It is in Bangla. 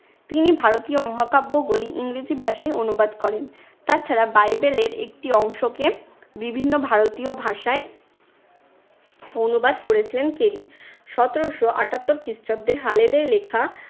তিনি ভারতীয় মহাকাব্যবলি ইংরেজি ভাষায় অনুবাদ করেন। তাছাড়া বাইবেলের একটি অংশকে বিভিন্ন ভারতীয় ভাষায় অনুবাদ করেছিলেন কেলি। সতেরশো আটাত্তর খ্রিস্টাব্দে হালেদের লেখা